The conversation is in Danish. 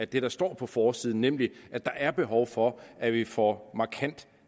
det der står på forsiden nemlig at der er behov for at vi får markant